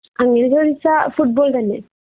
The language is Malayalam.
അങ്ങനെ ചോതിച്ചാ ഫുട്ബോൾ തന്നെ